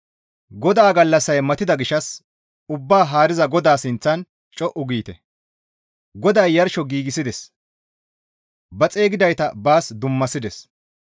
GODAA gallassay matida gishshas Ubbaa haariza GODAA sinththan co7u giite; GODAY yarsho giigsides; ba xeygidayta baas dummasides.